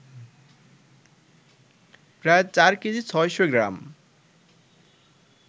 প্রায় চার কেজি ৬শ’ গ্রাম